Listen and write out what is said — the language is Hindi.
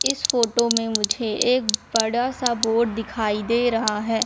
इस फोटो में मुझे एक बड़ा सा बोर्ड दिखाई दे रहा है।